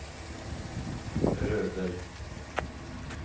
Rødøy